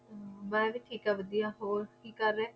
ਮੈ ਵੀ ਠੀਕ ਵਦਿਹਾ ਹੋਰ ਕਿ ਕਰਦੇ